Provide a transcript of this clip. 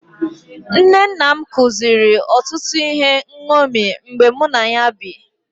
Nne nna m kụziri otụtụ ihe nṅomi mgbe mụ na ya bi.